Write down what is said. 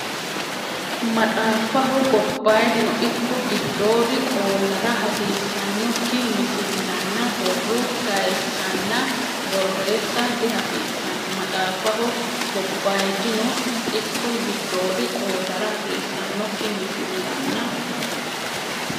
Maxaafaho gobbayidino ikko giddoodi qoollara hasiissannokki misil- lanna borro kayisanna borreessa dihasiissanno Maxaafaho gobbayidino ikko giddoodi qoollara hasiissannokki misil- lanna.